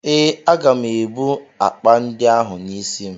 Ee, aga m ebu akpa ndị ahụ n'isi m.